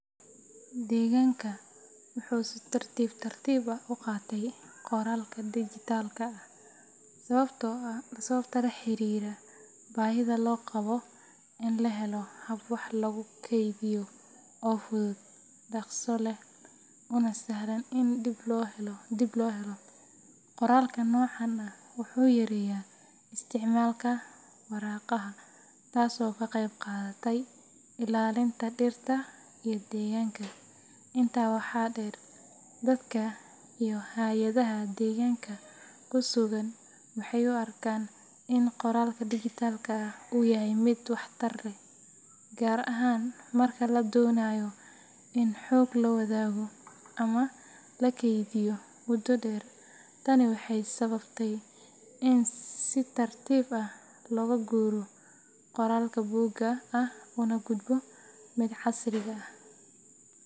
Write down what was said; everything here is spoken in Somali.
Deegaanka wuxuu si tartiib tartiib ah u qaatay qoraalka dijitaalka ah sababo la xiriira baahida loo qabo in la helo hab wax lagu kaydiyo oo fudud, dhaqso leh, una sahlan in dib loo helo. Qoraalka noocan ah wuxuu yareeyay isticmaalka waraaqaha, taasoo ka qayb qaadatay ilaalinta dhirta iyo deegaanka. Intaa waxaa dheer, dadka iyo hay’adaha deegaanka ku sugan waxay u arkeen in qoraalka dijitaalka ah uu yahay mid waxtar leh, gaar ahaan marka la doonayo in xog la wadaago ama la kaydiyo muddo dheer. Tani waxay sababtay in si tartiib ah looga guuro qoraalka buugga ah una gudbo midka casriga ah.